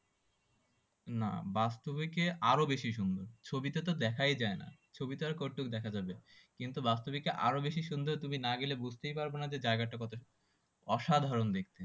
না বাস্তবিকে আরও বেশি সুন্দর ছবিতে তো দেখাই যায় না ছবি তে আর কতটুকু দেখা যাবে কিন্তু বাস্তবিকে আরো বেশি সুন্দর তুমি না গেলে বুঝতেই পারবে না যে জায়গাটা কতটা অসাধারণ দেখতে